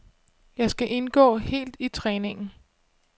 Jeg skal indgå helt i træningen.